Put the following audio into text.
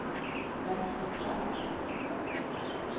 venstre knapp